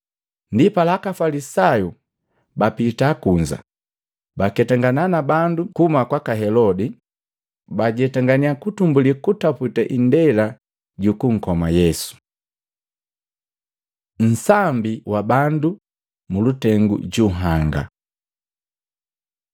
Ndipala, aka Afalisayu bapita kunza, baketangana na bandu kuhuma kwaka Helodi, bajetanganya kutumbulii kutaputa indela jukunkoma Yesu. Nsambi wa bandu mulutengu junhanga